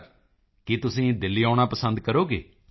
ਮੋਦੀ ਜੀ ਕੀ ਤੁਸੀਂ ਦਿੱਲੀ ਆਉਣਾ ਪਸੰਦ ਕਰੋਗੇ